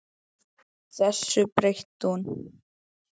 Þessu breytti hún.